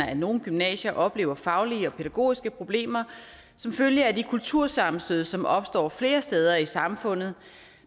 at nogle gymnasier oplever faglige og pædagogiske problemer som følge af de kultursammenstød som opstår flere steder i samfundet